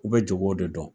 U bɛ jago de dɔn